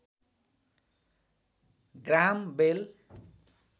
Graham बेल